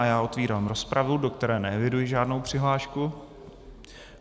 A já otvírám rozpravu, do které neeviduji žádnou přihlášku.